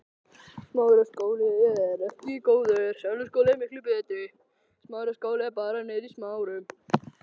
Einnig vitundin um að veðrið þýddi líka að trúlega yrði ekkert af hátíðahöldum um kvöldið.